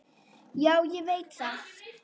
Já, ég veit það!